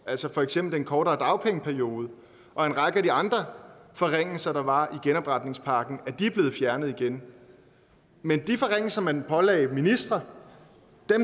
altså for eksempel den kortere dagpengeperiode og en række af de andre forringelser der var i genopretningspakken er blevet fjernet igen men de forringelser man pålagde ministre